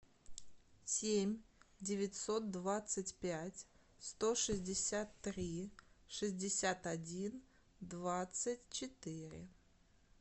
семь девятьсот двадцать пять сто шестьдесят три шестьдесят один двадцать четыре